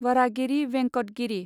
Varahagiri Venkata Giri